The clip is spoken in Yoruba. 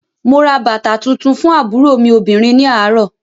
Mo ra bàtà tuntun fún àbúrò mi obìnrin ní àárọ̀